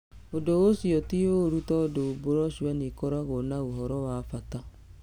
Ũndũ ũcio ti ũũru tondũ broshua nĩ ikoragwo na ũhoro wa bata.